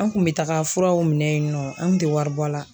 An kun bɛ taga furaw minɛ yennɔ an tun tɛ wari bɔ a la.